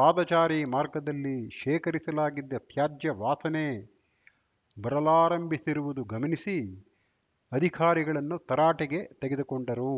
ಪದಾಚಾರಿ ಮಾರ್ಗದಲ್ಲಿ ಶೇಖರಿಸಲಾಗಿದ್ದ ತ್ಯಾಜ್ಯ ವಾಸನೆ ಬರಲಾರಂಭಿಸಿರುವುದು ಗಮನಿಸಿ ಅಧಿಕಾರಿಗಳನ್ನುತರಾಟೆಗೆ ತೆಗೆದುಕೊಂಡರು